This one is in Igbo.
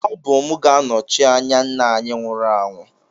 Ọ bụ m ga-anọchi anya nna anyị nwụrụ anwụ